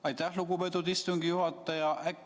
Aitäh, lugupeetud istungi juhataja!